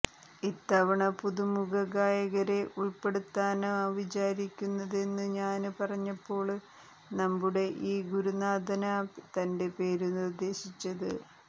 ഇത്തവണ പുതുമുഖ ഗായകരെ ഉള്പ്പെടുത്താനാ വിചാരിക്കുന്നതെന്നു ഞാന് പറഞ്ഞപ്പോള് നമ്മുടെ ഈ ഗുരുനാഥനാ തന്റെ പേരു നിര്ദ്ദേശിച്ചത്